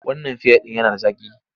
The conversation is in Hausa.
Wannan fiya ɗin yana da zaƙi.